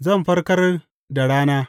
Zan farkar da rana.